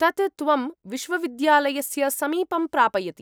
तत् त्वं विश्वविद्यालस्य समीपं प्रापयति।